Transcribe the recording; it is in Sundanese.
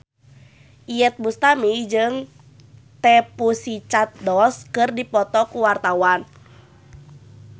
Iyeth Bustami jeung The Pussycat Dolls keur dipoto ku wartawan